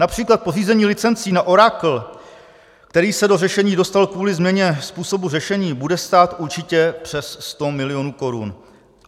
Například pořízení licencí na Oracle, který se do řešení dostal kvůli změně způsobu řešení, bude stát určitě přes 100 milionů korun.